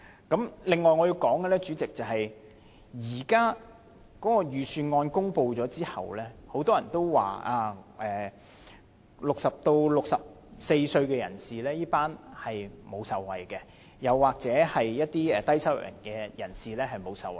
主席，另外我想說的是，預算案公布後，很多人都表示 ，60 歲至64歲這群人士沒有受惠，又或者一些低收入人士沒有受惠。